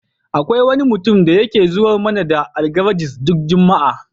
Akwai wani mutum da yake zuwar mana da Algaragis duk juma'a.